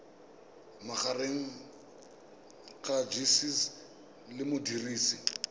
magareng ga gcis le modirisi